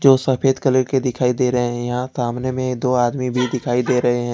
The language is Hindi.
दो सफेद कलर के दिखाई दे रहे है यहां सामने में दो आदमी भी दिखाई दे रहे हैं।